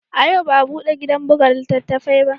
A yau ba a bude gidan buga littattafai ba